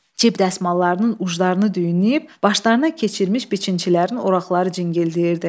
Cib dəsmallarının uclarını düyünləyib, başlarına keçirmiş biçinçilərin oraqları cıngıldayırdı.